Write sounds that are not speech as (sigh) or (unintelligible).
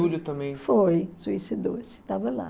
(unintelligible) também... Foi, suicidou-se, estava lá.